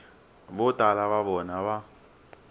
vo tala va vona va